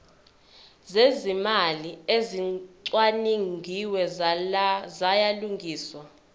zezimali ezicwaningiwe ziyalungiswa